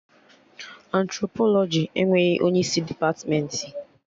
Antropolọjị enweghị onye isi depatmentị